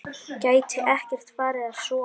Gæti ekki farið að sofa.